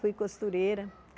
Fui costureira.